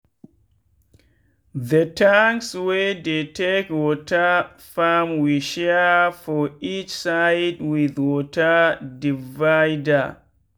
the tanks wey dey take water farmwe share for each side with water divider.